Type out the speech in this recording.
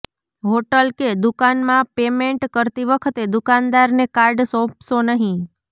hotel કે દુકાનમાં payment કરતી વખતે દુકાનદારને કાર્ડ સોંપશો નહીં